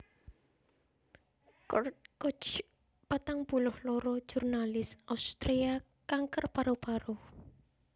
Kurt Kuch patang puluh loro jurnalis Austria kanker paru paru